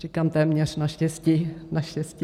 Říkám téměř, naštěstí, naštěstí.